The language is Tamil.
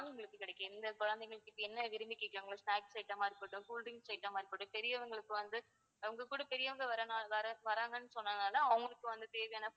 உங்களுக்கு கிடைக்கும் எந்த குழந்தைகள் என்ன விரும்பி கேக்குறாங்களோ snacks item ஆ இருக்கட்டும் cool drinks item ஆ இருக்கட்டும் பெரியவங்களுக்கு வந்து உங்க கூட பெரியவங்க வர்றனால வர~வர்றாங்கன்னு சொன்ன்தால அவங்களுக்கு தேவையான